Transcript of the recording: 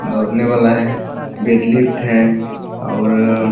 दौड़ने वाला हैं बेट लिफ्ट है और --